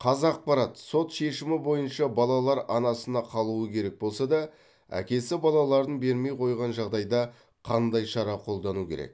қазақпарат сот шешімі бойынша балалар анасында қалуы керек болса да әкесі балаларын бермей қойған жағдайда қандай шара қолдану керек